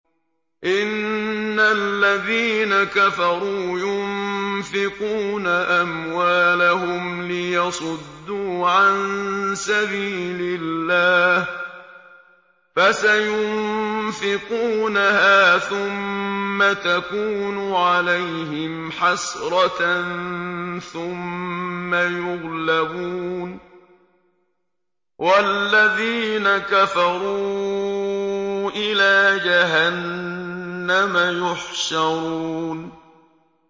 إِنَّ الَّذِينَ كَفَرُوا يُنفِقُونَ أَمْوَالَهُمْ لِيَصُدُّوا عَن سَبِيلِ اللَّهِ ۚ فَسَيُنفِقُونَهَا ثُمَّ تَكُونُ عَلَيْهِمْ حَسْرَةً ثُمَّ يُغْلَبُونَ ۗ وَالَّذِينَ كَفَرُوا إِلَىٰ جَهَنَّمَ يُحْشَرُونَ